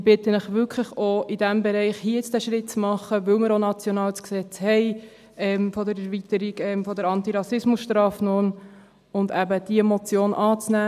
Ich bitte Sie wirklich, auch in diesem Bereich den Schritt zu machen – denn wir haben mit der Erweiterung der Antirassismus-Strafnorm das Gesetz auch national – und diese Motion anzunehmen.